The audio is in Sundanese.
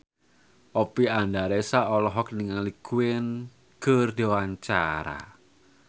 Oppie Andaresta olohok ningali Queen keur diwawancara